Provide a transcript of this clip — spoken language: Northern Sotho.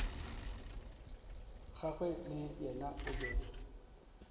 gagwe le yena o be